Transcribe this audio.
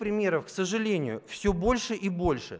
примеров к сожалению все больше и больше